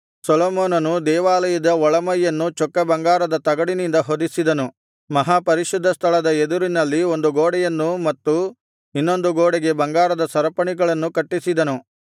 ಸೊಲೊಮೋನನು ದೇವಾಲಯದ ಒಳಮೈಯನ್ನು ಚೊಕ್ಕ ಬಂಗಾರದ ತಗಡಿನಿಂದ ಹೊದಿಸಿದನು ಮಹಾಪರಿಶುದ್ಧ ಸ್ಥಳದ ಎದುರಿನಲ್ಲಿ ಒಂದು ಗೋಡೆಯನ್ನು ಮತ್ತು ಇನ್ನೊಂದು ಗೋಡೆಗೆ ಬಂಗಾರದ ಸರಪಣಿಗಳನ್ನು ಕಟ್ಟಿಸಿದನು